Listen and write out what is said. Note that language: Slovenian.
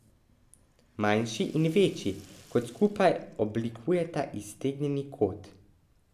Manjši in večji kot skupaj oblikujeta iztegnjeni kot.